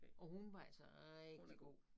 Og hun var altså rigtig god